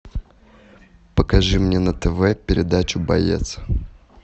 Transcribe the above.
покажи мне на тв передачу боец